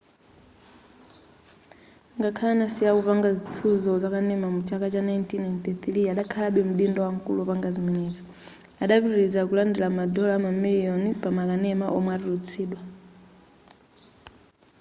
ngakhale adasiya kupanga zitsuzo zakanema mu chaka cha 1993 adakhalabe mdindo wamkulu wopanga zimenezi adapitiliza kulandira madola mamiliyoni pa makanema omwe atulutsidwa